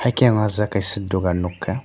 haike o jaga kaisa dogan nogkha.